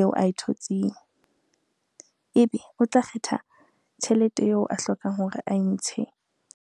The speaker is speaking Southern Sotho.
eo ae thotseng ebe o tla kgetha tjhelete eo a hlokang hore ae ntshe.